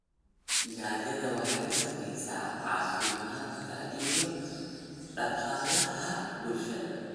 Gaajada waxay saamaysaa caafimaadka iyo dhaqaalaha bulshada.